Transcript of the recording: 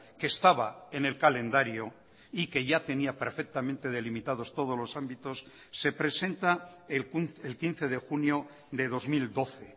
que estaba en el calendario y que ya tenía perfectamente delimitados todos los ámbitos se presenta el quince de junio de dos mil doce